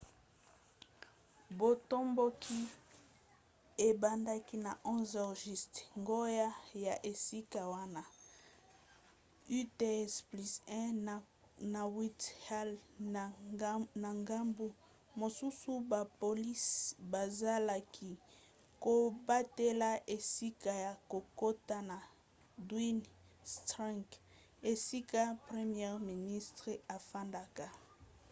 botomboki ebandaki na 11h00 ngonga ya esika wana utc+1 na whitehall na ngambu mosusu bapolisi bazalaki kobatela esika ya kokota na downing street esika premier ministre afandaka